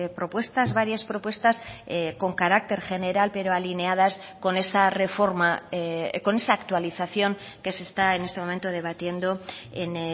propuestas varias propuestas con carácter general pero alineadas con esa reforma con esa actualización que se está en este momento debatiendo en